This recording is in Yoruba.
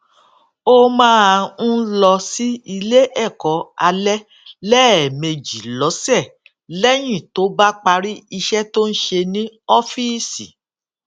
ó máa ń lọ sí ilé èkó alé léèmejì lósè léyìn tó bá parí iṣé tó ń ṣe ní ófíìsì